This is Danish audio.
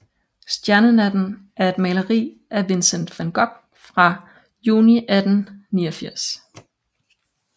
Stjernenatten er et maleri af Vincent van Gogh fra juni 1889